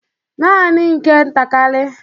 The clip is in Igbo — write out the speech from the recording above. Nanị nke ntakịrị